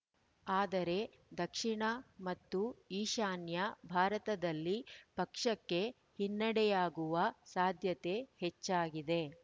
ಆದರೆ ದಕ್ಷಿಣ ಮತ್ತು ಈಶಾನ್ಯ ಭಾರತದಲ್ಲಿ ಪಕ್ಷಕ್ಕೆ ಹಿನ್ನಡೆಯಾಗುವ ಸಾಧ್ಯತೆ ಹೆಚ್ಚಾಗಿದೆ